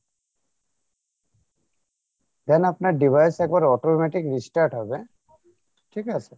then আপনার device এরপর automatic restart হবে ঠিক আছে?